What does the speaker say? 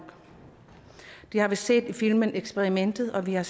det har vi set i filmen eksperimentet og vi har